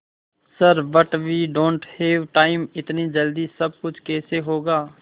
sir but we don't have time इतनी जल्दी सब कुछ कैसे होगा